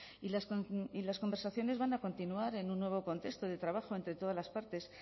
y las conversaciones van a continuar en un nuevo contexto de trabajo entre todas las partes